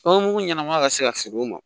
Fɛn mugu ɲɛnama ka se ka feere o ma